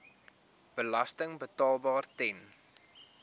belasting betaalbaar ten